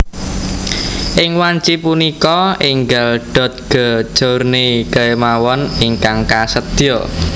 Ing wanci punika enggal Dodge Journey kemawon ingkang kasedia